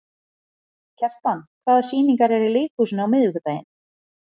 Kjartan, hvaða sýningar eru í leikhúsinu á miðvikudaginn?